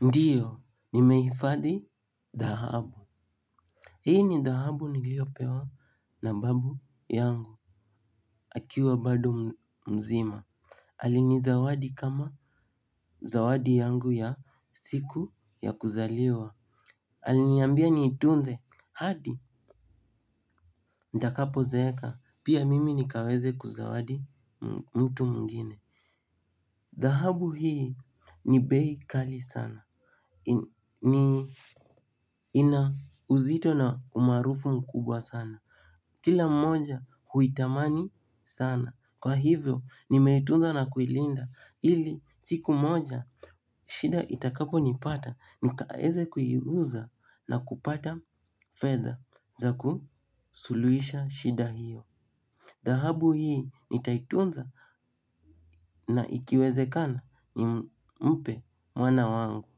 Ndiyo nimehifadhi dhahabu. Hii ni dhahabu niliyopewa na babu yangu. Akiwa bado mzima alinizawadi kama zawadi yangu ya siku ya kuzaliwa. Aliniambia niitunze hadi ntakapozeeka pia mimi nikaweze kuzawadi mtu mwengine. Dhahabu hii ni bei kali sana. Ni ina uzito na umaarufu mkubwa sana. Kila mmoja huitamani sana. Kwa hivyo nimeitunza na kuilinda. Ili siku moja shida itakaponipata nikaeze kuiuza na kupata fedha za kusuluhisha shida hiyo. Dhahabu hii nitaitunza na ikiwezekana nimpe mwana wangu.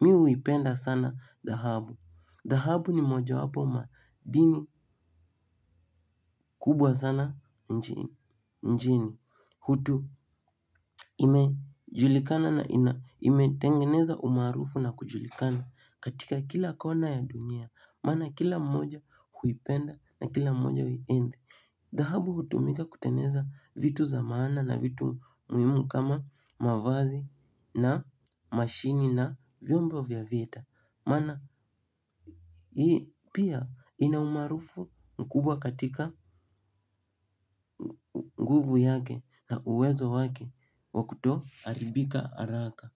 Mimi huipenda sana dhahabu, dhahabu ni mojawapo madini kubwa sana nchini, hutu imejulikana na imetengeneza umaarufu na kujulikana katika kila kona ya dunia, maana kila mmoja huipenda na kila mmoja huienzi. Dhahabu hutumika kutengeneza vitu za maana na vitu muhimu kama mavazi na mashini na vyombo vya vita, maana hii pia ina umaarufu mkubwa katika nguvu yake na uwezo wake wa kutoharibika haraka.